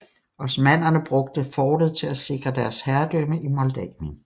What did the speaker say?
Osmannerne brugte fortet til at sikre deres herredømme i Moldavien